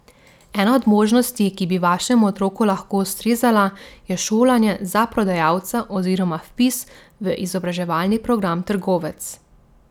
Ena od možnosti, ki bi vašemu otroku lahko ustrezala, je šolanje za prodajalca oziroma vpis v izobraževalni program Trgovec.